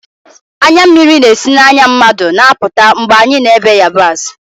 Anya mmiri na-esi n'anya mmadụ na-apụta mgbe anyị na-èbe yabasị